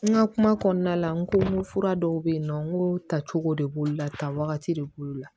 N ka kuma kɔnɔna la n ko n ko fura dɔw be ye nɔ n ko tacogo de b'olu la tan wagati de b'olu la